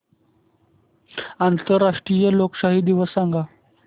आंतरराष्ट्रीय लोकशाही दिवस सांगा